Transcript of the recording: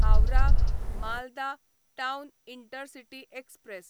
Howrah Malda town intercity express